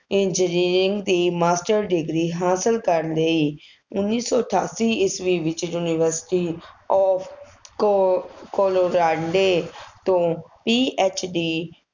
engineering ਦੀ master degree ਹਾਸਿਲ ਕਰ ਲਈ। ਉੱਨੀ ਸੌ ਅਠਾਸੀ ਈਸਵੀ ਵਿੱਚ ਯੂਨੀਵਰਸਿਟੀ ਤੋਂ ਕੋ~ ਕੋਲੋਰਾਂਡੇਂ ਤੋਂ PHD